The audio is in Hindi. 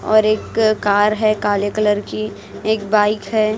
और एक कार है काले कलर की एक बाइक है।